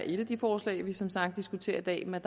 et af de forslag vi som sagt diskuterer i dag men